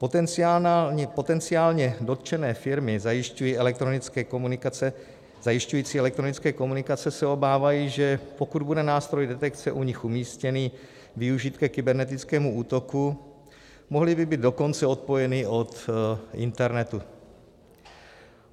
Potenciálně dotčené firmy zajišťující elektronické komunikace se obávají, že pokud bude nástroj detekce u nich umístěný využit ke kybernetickému útoku, mohly by být dokonce odpojeny od internetu.